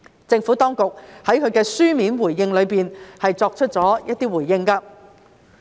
政府當局在其書面回應中已逐一作出回覆。